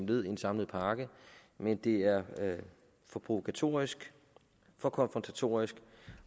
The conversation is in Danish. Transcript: led i en samlet pakke men det er for provokatorisk og konfrontatorisk